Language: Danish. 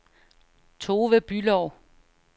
Tove Bülow